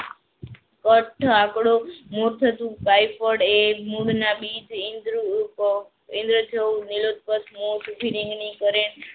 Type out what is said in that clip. પટ્ખડો કરે.